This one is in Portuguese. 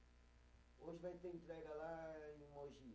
Hoje vai ter entrega lá em Mogi.